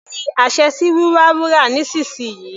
Fi àṣẹ sí wíwa wúrà nísìnsìnyí.